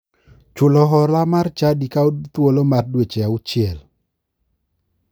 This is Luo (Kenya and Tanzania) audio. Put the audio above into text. Chulo hola mar chadi kawo thuolo mar dweche auchiel